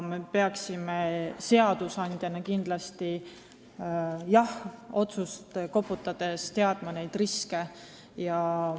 Seadusandjana me peaksime aga otsuseid vastu võttes teadma ka riske.